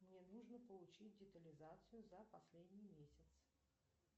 мне нужно получить детализацию за последний месяц